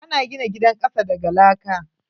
Ana gina gidan kasa daga laka.